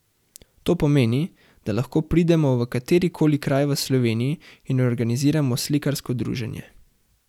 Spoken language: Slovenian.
To pomeni, da lahko pridemo v katerikoli kraj v Sloveniji in organiziramo slikarsko druženje.